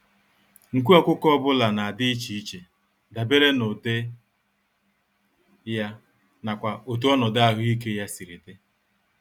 Nku ọkụkọ ọbula nadi íchè iche, dabere n'ụdị ya, n'akwa otú ọnọdụ ahụike ya siri dị.